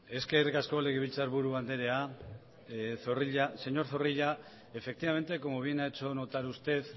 eskerrik asko legebiltzarburu anderea señor zorrilla efectivamente como bien ha hecho notar usted